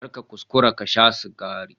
Kar ka kuskura ka sha sigari